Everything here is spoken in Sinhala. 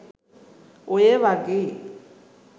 ඔය වගේ